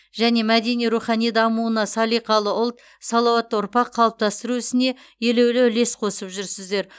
және мәдени рухани дамуына салиқалы ұлт салауатты ұрпақ қалыптастыру ісіне елеулі үлес қосып жүрсіздер